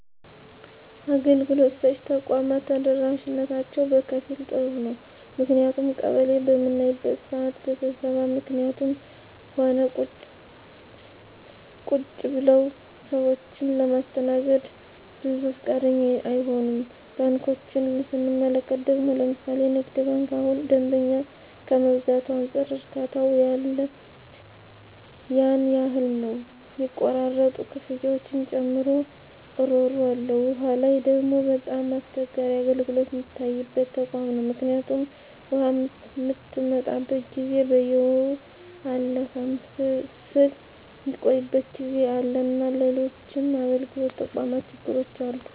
አገልግሎት ሰጭ ተቋማት ተደራሽነታቸው በከፊል ጥሩ ነው ምክንያቱም ቀበሌ በምናይበት ስዓት በስብሰባ ምክኒትም ሆነ ቁጭ ብለውም ሰዎችን ለማስተናገድ ብዙ ፈቃደኛ አይሆኑም። ባንኮችን ስንመለከት ደግሞ ለምሣሌ ንግድ ባንክ እሁን ደንበኛ ከመብዛቱ አንፃር እርካታው ያን ያህል ነው ሚቆራረጡ ክፍያዎችን ጨምሮ እሮሮ አለ። ዉሃ ላይ ደግሞ በጣም አስቸጋሪ አገልግሎት ሚታይበት ተቋም ነው ምክኒቱም ውሃ ምትመጣበት ጊዜ በየወሩ አለፍም ስል ሚቆይበት ጊዜ አለና ሎሎችም የአገልግሎት ተቋማት ችግሮች አሉ።